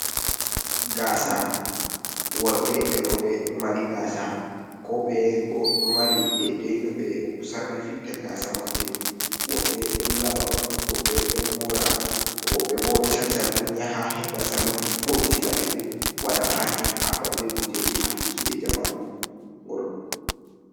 Gaasa, worɓe e rooɓe ɗo mari gaasa, ko ɓeye bo ɗo mari deedey no ɓe sarri fitta gaasa mabɓe, woɓɓe ɗon laɓa on, woɓɓe ɗon moora, woɓɓe bo cancan on, yaha heɓa salun fooɗitina ɓe ɗum. Waɗa pakin haɓɓa be kujeeji haɓɓuki jey jamanu.